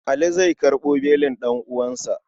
Ali zai karɓo belin ɗan'uwansa.